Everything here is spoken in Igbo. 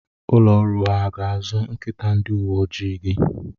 Ụlọ ọrụ a ha ga-azụ nkịta ndi uwe ojii gị?